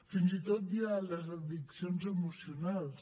fins i tot hi ha les addiccions emocionals